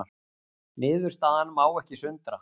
Niðurstaðan má ekki sundra